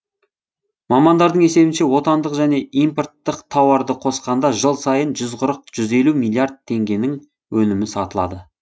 мамандардың есебінше отандық және импорттық тауарды қосқанда жыл сайын жүз қырық жүз елу миллиард теңгенің өнімі сатылады